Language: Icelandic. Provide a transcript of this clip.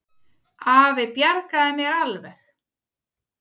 Afi bjargaði mér alveg.